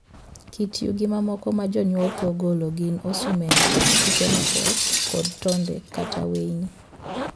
Kit yugi mamoko ma jonyuol thoro golo gin osumende, kite mapoth, kod tonde kata weyni.